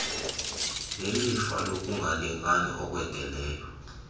nelifa lokungalingani okwendeleyo